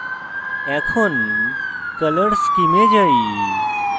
এখন color scheme color schemes এ যাই